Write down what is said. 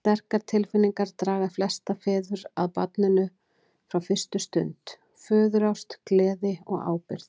Sterkar tilfinningar draga flesta feður að barninu frá fyrstu stundu, föðurást, gleði og ábyrgð.